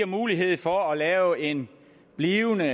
mulighed for at lave en blivende